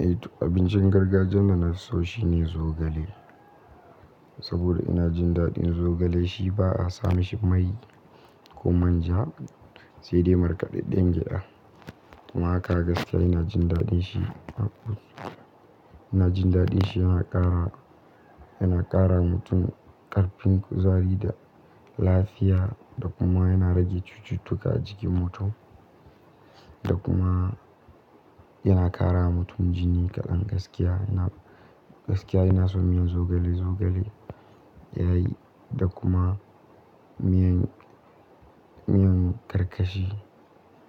Eh to abincin gargajiyan da nafi so shine zogale. Sabida ina jin daɗin zogale shi ba a sa mashi mai ko manja sai dai markaɗaɗɗen gyaɗa. Amma a haka gaskiya ina jin daɗin shi. Ina jin daɗin shi yana ƙara, yana ƙara wa mutum ƙarfin kuzari da lafiya, da kuma yana rage cututtuka a jikin mutum. Da kuma yana ƙara wa mutum jini kaɗan gaskiya. Ina, gaskiya ina son miyan zogale, zogale yayi da kuma miyan, miyan karkashi.